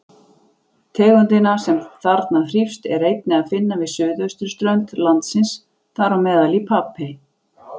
Tegundina, sem þarna þrífst, er einnig að finna við suðausturströnd landsins, þám í Papey.